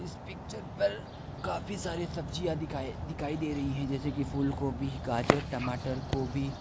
इस पिक्चर पर काफी सारी सब्जियां दिखाई दिखाइ दे रही है जैसे की फूलगोभी गाजर टमाटर गोभी।